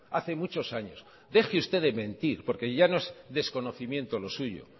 hace muchos años deje usted de mentir porque ya no es desconocimiento lo suyo